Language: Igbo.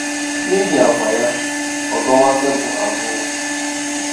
N'ihi àgwà ya, o dowo tebụl abụọ!